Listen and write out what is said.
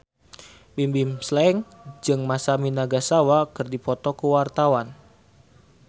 Bimbim Slank jeung Masami Nagasawa keur dipoto ku wartawan